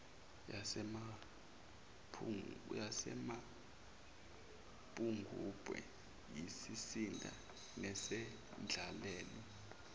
yasemapungubwe siyisizinda nesendlalelo